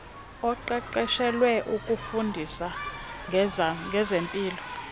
oqeqeshelwe ukufundisa ngezempilo